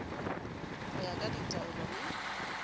go ya ka ditaelo le